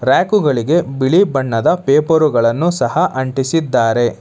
ರ್ಯಾಕುಗಳಿಗೆ ಬಿಳಿ ಬಣ್ಣದ ಪೇಪರುಗಳನ್ನು ಸಹ ಅಂಟಿಸಿದ್ದಾರೆ.